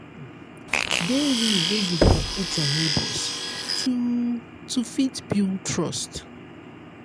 dey real when you dey approach your neigbours to to fit build trust